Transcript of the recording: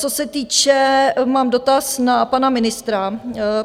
Co se týče - mám dotaz na pana ministra.